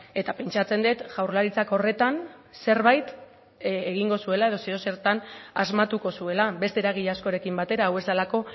eta pentsatzen dut jaurlaritzak horretan zerbait egingo zuela edo zer edo zertan asmatuko zuela beste eragile askorekin batera hau ez delako